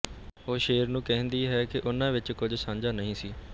ਉਹ ਸ਼ੇਰ ਨੂੰ ਕਹਿੰਦੀ ਹੈ ਕਿ ਉਨ੍ਹਾਂ ਵਿਚ ਕੁਝ ਸਾਂਝਾ ਨਹੀਂ ਸੀ